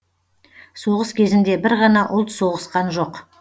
соғыс кезінде бір ғана ұлт соғысқан жоқ